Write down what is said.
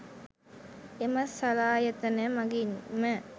එම සලායතන මගින්ම